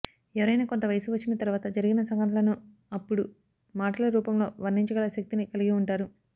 ఎవరయినా కొంత వయసు వచ్చిన తర్వాత జరిగిన సంఘటనలను అప్పుడు మాటల రూపంలో వర్ణించగల శక్తిని కలిగి ఉంటారు